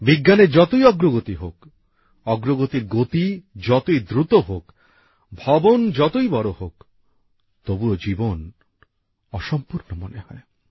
বিজ্ঞানের যতই অগ্রগতি হোক অগ্রগতির গতি যতই দ্রুত হোক বাড়ি যতই বড় হোক তবুও জীবন অসম্পূর্ণ মনে হয়